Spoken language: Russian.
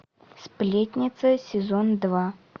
сплетница сезон два